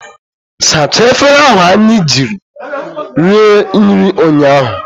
Sachaa efere ahụ anyị ji rie nri ụnyaahụ!